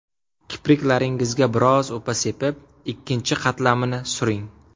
Kipriklaringizga biroz upa sepib, ikkinchi qatlamini suring.